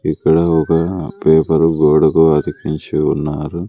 ఇక్కడ ఒక పేపరు గోడకు అది పూసి ఉన్నారు.